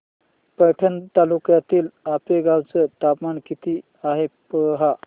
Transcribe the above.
पैठण तालुक्यातील आपेगाव चं तापमान किती आहे पहा